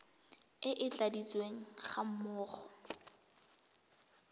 e e tladitsweng ga mmogo